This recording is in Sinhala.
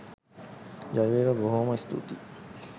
ජයවේවා.බොහෝ.ම ස්තූතියි!